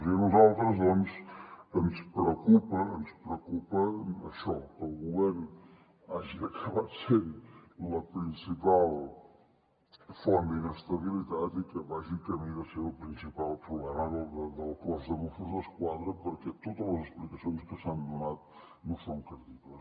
i a nosaltres ens preocupa això que el govern hagi acabat sent la principal font d’inestabilitat i que vagi camí de ser el principal problema del cos de mossos d’esquadra perquè totes les explicacions que s’han donat no són creïbles